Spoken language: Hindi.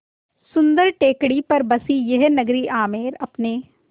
सुन्दर टेकड़ी पर बसी यह नगरी आमेर अपने